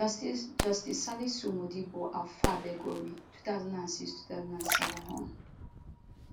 justice justice salisu modibo alfa belgore 20062007 hon